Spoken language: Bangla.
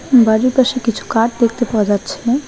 বাড়ির পাশে কিছু কাঠ দেখতে পাওয়া যাচ্ছে।